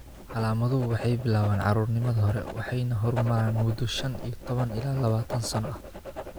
Calaamaduhu waxay bilaabaan caruurnimada hore waxayna horumaraan muddo shan iyo tobaan ilaa lawatan sano ah.